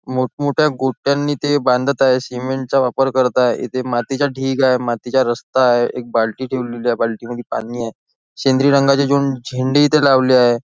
मोठमोठ्या गोट्यांने ते बांधत आहे सिमेंटचा वापर करत आहे इथे मातीचा ढीग आहे मातीचा रस्ता आहे एक बाल्टी ठेवली आहे बालटी मध्ये पाणी आहे सेंद्रिय रंगाचे दोन झेंडे इथे लावले आहे.